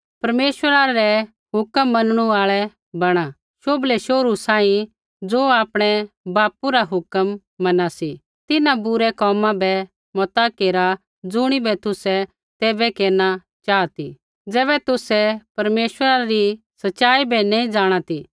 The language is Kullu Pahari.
परमेश्वरा रै हुक्म मनणु आल़ै बणा शोभलै शोहरू सांही ज़ो आपणै बापू रा हुक्म मना सी तिन्हां बुरै कोमा बै मता केरा ज़ुणिबै तुसै तैबै केरना चाहा ती ज़ैबै तुसै परमेश्वरा री सच़ाई बै नैंई जाँणा ती